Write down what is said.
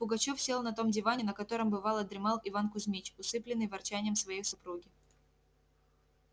пугачёв сел на том диване на котором бывало дремал иван кузьмич усыплённый ворчанием своей супруги